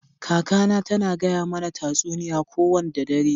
Kaka na ta na gaya mana tasuniya ko wanda dare.